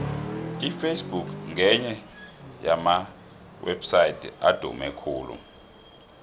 iface book ngenye yamawepsaydi adume khulu